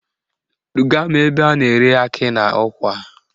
Duga m ebe a na-ere akị na ụkwa